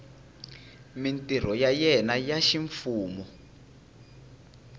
mintirho ya yena ya ximfumo